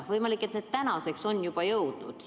Võimalik, et need maskid tänaseks on juba kohale jõudnud.